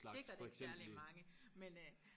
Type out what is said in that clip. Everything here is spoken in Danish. Sikkert ikke særligt mange men øh